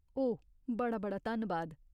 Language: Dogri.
ओह्, बड़ा बड़ा धन्नबाद।